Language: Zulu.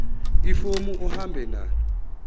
ifomu uhambe nalo